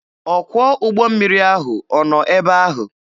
Ọkwọ ụgbọ mmiri ahụ ọ nọ ebe ahụ?